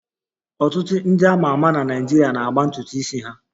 Ọtụtụ ndị a ma ama na Naịjirịa na-agba ntutu isi ha